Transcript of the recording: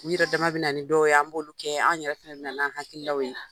U yɛrɛ dama bɛ na nin dɔw ye an b'olu kɛ, anw yɛrɛ fɛnɛ bɛ na n'an hakililaw ye.